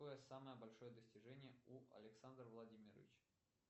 какое самое большое достижение у александра владимировича